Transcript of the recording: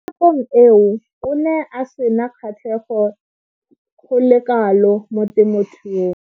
Mo nakong eo o ne a sena kgatlhego go le kalo mo temothuong.